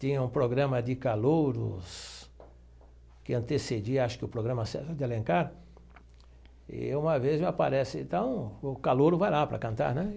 tinha um programa de calouros que antecedia, acho que o programa de Alencar, e uma vez aparece, então o calouro vai lá para cantar, né?